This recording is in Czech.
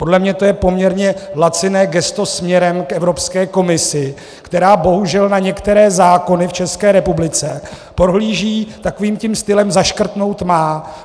Podle mě to je poměrně laciné gesto směrem k Evropské komisi, která bohužel na některé zákony v České republice pohlíží takovým tím stylem zaškrtnout - má.